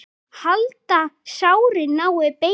Halda, að sárið nái beini.